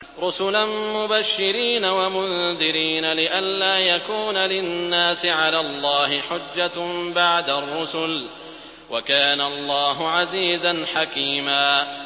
رُّسُلًا مُّبَشِّرِينَ وَمُنذِرِينَ لِئَلَّا يَكُونَ لِلنَّاسِ عَلَى اللَّهِ حُجَّةٌ بَعْدَ الرُّسُلِ ۚ وَكَانَ اللَّهُ عَزِيزًا حَكِيمًا